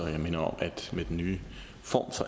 jeg minder om at med den nye form